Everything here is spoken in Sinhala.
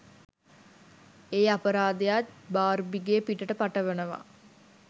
ඒ අපරාධයත් බාර්බිගේ පිටට පටවනවා.